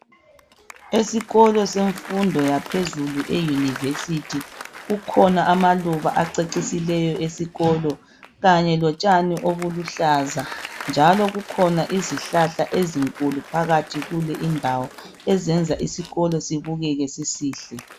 Esikolo semfundo yaphezulu euniversity kukhona amaluba acecisileyo esikolo kanye lotshani obuluhlaza njalo kukhona izihlahla ezinkulu phakathi kule indawo ezenza isikolo sibukeke sisihle.